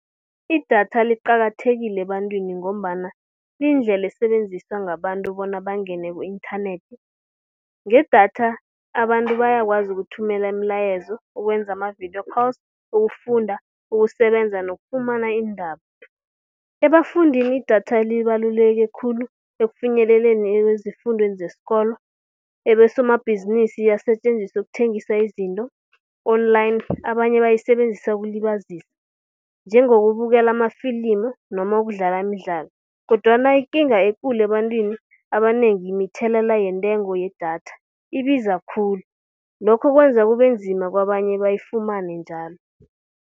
Idatha liqakathekile ebantwini ngombana liyindlela esebenziswa ngabantu bona bangene ku-inthanethi. Ngedatha abantu bayakwazi ukuthumela imilayezo, ukwenza ama-video calls, ukufunda, ukusebenza nokufumana iindaba. Ebafundini idatha libaluleke khulu ekufinyeleleni ekwezifundweni zesikolo. Ebesomabhizinisi asetjenziswa ukuthengisa izinto online, abanye bayisebenzisa ukulibazisa, njengokubukela amafilimu noma ukudlala imidlalo. Kodwana ikinga ekulu ebantwini abanengi mithelela yentengo yedatha, ibiza khulu lokho kwenza kubenzima kwabanye bayifumane njalo.